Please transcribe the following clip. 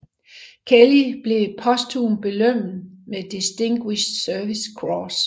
Kelly blev posthumt belønnet med Distinguished Service Cross